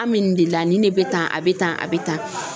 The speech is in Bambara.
An bɛ nin de la nin de bɛ tan a bɛ tan a bɛ tan.